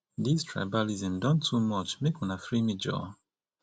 dis tribalism don too much make una free me joor